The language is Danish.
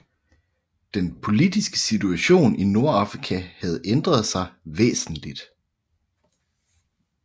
Den politiske situation i Nordafrika havde ændret sig væsentligt